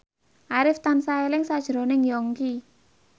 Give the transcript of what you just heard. Arif tansah eling sakjroning Yongki